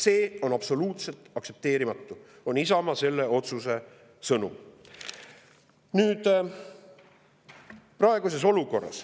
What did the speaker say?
See on absoluutselt aktsepteerimatu, on Isamaa selle otsuse sõnum.